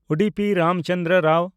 Udupi Ramchandra Rao